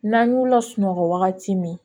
N'an y'u lasunɔgɔ wagati min